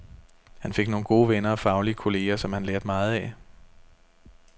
Han fik nogle gode venner og faglige kolleger, som han lærte meget af.